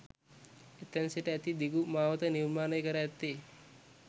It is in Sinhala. එතැන සිට ඇති දිගු මාවත නිර්මාණය කර ඇත්තේ